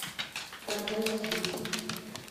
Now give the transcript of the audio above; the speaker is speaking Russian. канзас сити